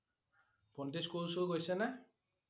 ভণ্টো স্কুল-চুল গৈছে নে?